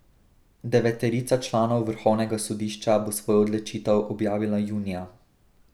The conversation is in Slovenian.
Deveterica članov vrhovnega sodišča bo svojo odločitev objavila junija.